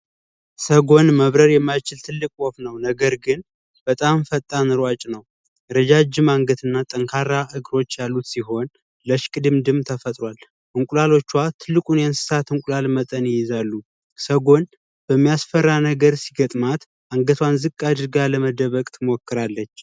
ሰጎን መብረር የማይችል ትልቅ ወፍ ነው ነገር ግን በጣም ፈጣን ሯጭ ነው። ረጃጅም አንገት እና ጠንካራ እግሮች ያሉት ሲሆን ለሽቅድምድም ተፈጥሯል። እንቁላሎቿን ትልቁን የእንሰሳት እንቁላል መጠን ይይዛሉ ሰጎን የሚያስፈራ ነገር ሲገጥማት አንገቷን ዝቅ አድርጋ ለመደበቅ ትሞክራለች።